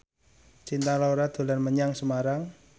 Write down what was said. Cinta Laura dolan menyang Semarang